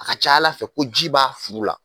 A ka ca Ala fɛ ko ji b'a furu la